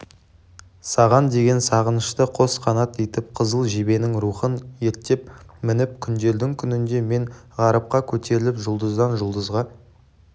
саған деген сағынышты қос қанат етіп қызыл жебенің рухын ерттеп мініп күндердің күнінде мен ғарыпқа көтеріліп жұлдыздан жұлдызға